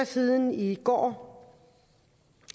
siden end i går